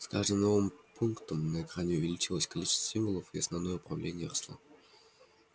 с каждым новым пунктом на экране увеличивалось количество символов и основное уравнение росло